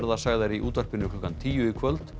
sagðar í útvarpi klukkan tíu í kvöld